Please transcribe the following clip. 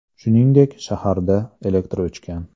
Shuningdek, shaharda elektr o‘chgan .